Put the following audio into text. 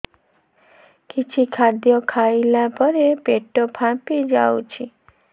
କିଛି ଖାଦ୍ୟ ଖାଇଲା ପରେ ପେଟ ଫାମ୍ପି ଯାଉଛି